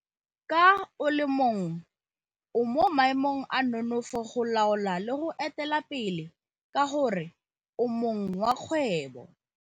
Ka o le mong o mo maemong a nonofo go laola le go etelela pele ka gore o mong wa kgwebo.